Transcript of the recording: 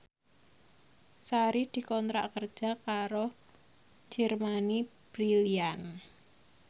Sari dikontrak kerja karo Germany Brilliant